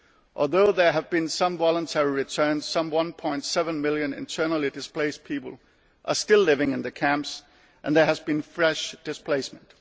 concern. Although there have been some voluntary returns, some 1.7 million internally displaced people are still living in camps, and there has been fresh displacement.